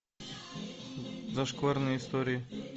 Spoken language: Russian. зашкварные истории